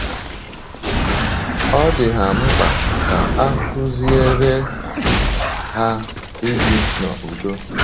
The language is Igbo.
Ọ dị ha mkpa ka a kụziere ha ibi n’ụ̀dò.